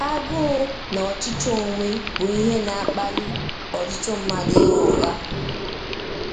Agụụ na ọchịchọ onwe bụ ihe na-akpali ọtụtụ mmadụ ịgha ụgha.